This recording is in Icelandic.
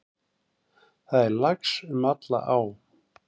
Það er lax um alla á.